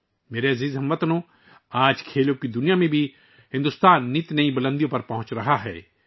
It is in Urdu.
میرے پیارے ہم وطنو، آج بھارت کھیلوں کی دنیا میں ہر روز نئی بلندیوں کو چھو رہا ہے